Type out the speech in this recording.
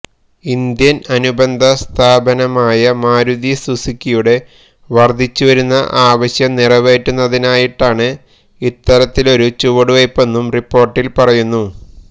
Indian അനുബന്ധ സ്ഥാപനമായ മാരുതി സുസുക്കിയുടെ വര്ദ്ധിച്ചുവരുന്ന ആവശ്യം നിറവേറ്റുന്നതിനായിട്ടാണ് ഇത്തരത്തിലൊരു ചുവടുവെയ്പ്പെന്നും റിപ്പോര്ട്ടില് പറയുന്നു